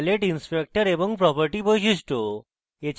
palette inspector এবং property বৈশিষ্ট্য